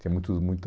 Tinha muitos muita